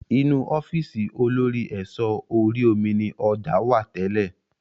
Inu ọ́fíìsì olórí ẹ̀sọ́ orí omi ni ọjà wá tẹ́lé